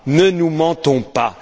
Ne nous mentons pas.